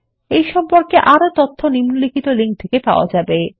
এই সম্পর্কে আরও তথ্য নিম্নলিখিত লিঙ্ক থেকে পাওয়া যাবে